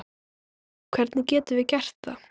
Hvernig getum við gert það?